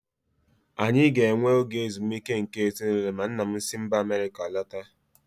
Anyị ga-enwe oge ezumike nke ezinụlọ ma nna m si mba Amerịka lọta.